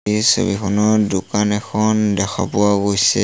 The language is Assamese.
এই ছবিখনত দোকান এখন দেখা পোৱা গৈছে।